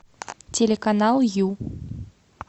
телеканал ю